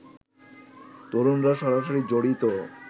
তরুণরা সরাসরি জড়িত